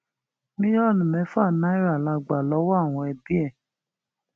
mílíọnù mẹfà náírà la gbà lọwọ àwọn ẹbí ẹ